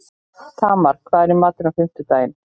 Tamar, hvað er í matinn á fimmtudaginn?